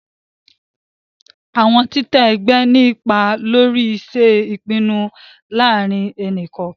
Awọn titẹ ẹgbẹ ni ipá lórí ṣiṣe ipinnu láàrin ẹni kọọkan